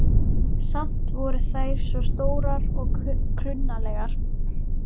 Samt voru þær svo stórar og klunnalegar.